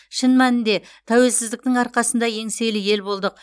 шын мәнінде тәуелсіздіктің арқасында еңселі ел болдық